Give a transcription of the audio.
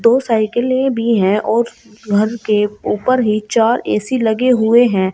दो साइकिले भी है और घर के ऊपर ही चार ऐ_सी लगे हुए हैं।